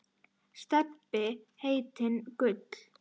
Stebbi heitinn Gull.